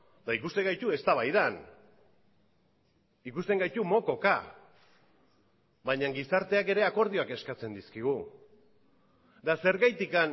eta ikusten gaitu eztabaidan ikusten gaitu mokoka baina gizarteak ere akordioak eskatzen dizkigu eta zergatik